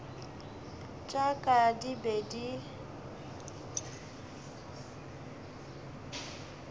tša ka di be di